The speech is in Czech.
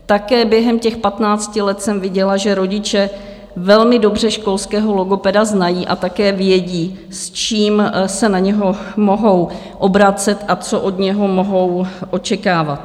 Také během těch patnácti let jsem viděla, že rodiče velmi dobře školského logopeda znají a také vědí, s čím se na něj mohou obracet a co od něho mohou očekávat.